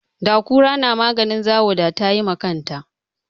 Da kura na maganin zawo da tayi ma kanta